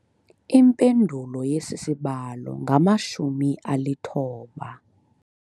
Impendulo yesi sibalo ngamshumi alithoba.